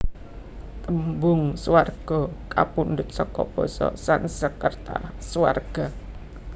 Tembung Swarga kapundhut seka basa Sansekerta Svarga